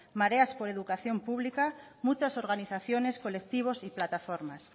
mareas por educación pública muchas organizaciones colectivos y plataformas